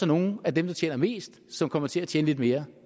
nogle af dem der tjener mest som kommer til at tjene lidt mere